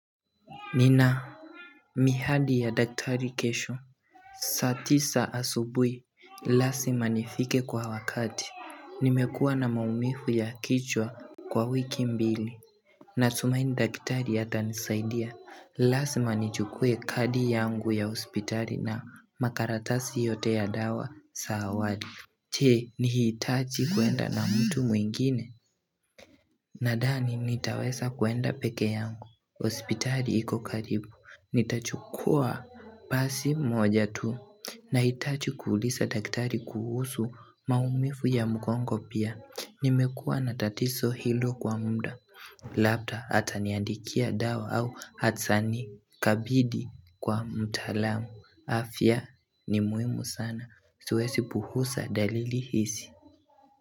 Nina, mihadi ya daktari kesho, saa tisa asubuhi, lasima nifike kwa wakati, nimekua na maumivu ya kichwa kwa wiki mbili, na tumaini daktari atanisaidia, lasima nichukue kadi yangu ya hospitali na makaratasi yote ya dawa saa awali je ni hitaji kuenda na mtu mwingine Nadhani nitaweza kuenda peke yangu hospitali iko karibu Nitachukua basi moja tu na hitajii kuulisa daktari kuhusu maumivu ya mgongo pia Nimekua na tatiso hilo kwa muda Labda ataniandikia dawa au atani kabidi kwa mtalamu afya ni muhimu sana siwesi puhusa dalili hisi.